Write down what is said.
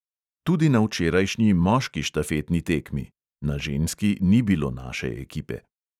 Tudi na včerajšnji moški štafetni tekmi (na ženski ni bilo naše ekipe).